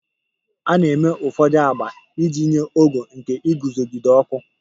A na-eme ụfọdụ agba iji nye ogo nke iguzogide ọkụ.